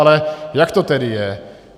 Ale jak to tedy je?